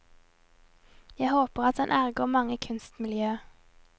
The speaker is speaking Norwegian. Jeg håper at han ergrer mange i kunstmiljøet.